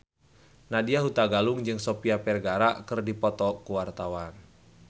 Nadya Hutagalung jeung Sofia Vergara keur dipoto ku wartawan